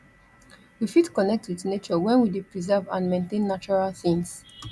we fit connect with nature when we de preserve and maintain nature things